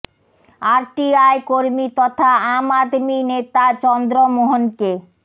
R T I কর্মী তথা আম আদমি নেতা চন্দ্র মোহনকে